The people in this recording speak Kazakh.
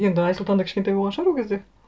енді айсұлтан да кішкентай болған шығар ол кезде